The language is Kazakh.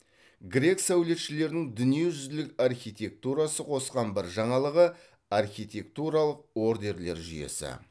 грек сәулетшілерінің дүниежүзілік архитектурасы қосқан бір жаңалығы архитектуралық ордерлер жүйесі